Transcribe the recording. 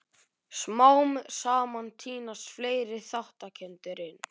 Smám saman tínast fleiri þátttakendur inn.